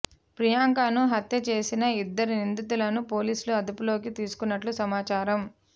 ప్రియాంకను హత్య చేసిన ఇద్దరు నిందితులను పోలీసులు అదుపులోకి తీసుకున్నట్లు సమాచారం